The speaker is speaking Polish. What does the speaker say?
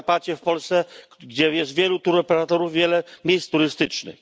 z Podkarpacia w Polsce, gdzie jest wielu touroperatorów, wiele miejsc turystycznych.